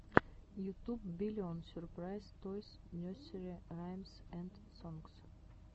ютуб биллион сюрпрайз тойс несери раймс энд сонгс